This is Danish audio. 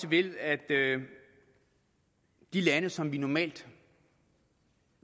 ved at de lande som vi normalt